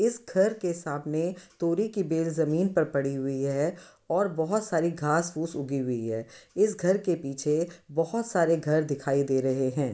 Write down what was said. इस घर के सामने तोरी की बेल जमीन पर पड़ी हुई है और बोहोत सारी घास पूस उगी हुई है इस घर के पीछे बोहोत सारे घर दिखाई दे रहे हैं।